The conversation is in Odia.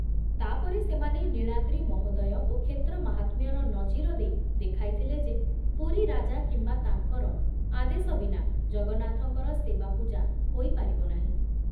ତା ପରେ ସେମାନେ ନୀଳାଦ୍ରି ମହୋଦୟ ଓ କ୍ଷେତ୍ରମାହାତ୍ମ୍ୟର ନଜିର ଦେଇ ଦେଖାଇ ଥିଲେ ଯେ ପୁରୀ ରାଜା କିମ୍ବା ତାଙ୍କର ଆଦେଶ ବିନା ଜଗନ୍ନାଥଙ୍କର ସେବାପୂଜା ହୋଇ ପାରିବ ନାହିଁ ।